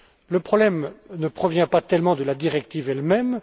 Le problème ne provient pas tellement de la directive elle même.